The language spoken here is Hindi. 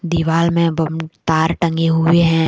दीवाल में बम तार टंगे हुए हैं।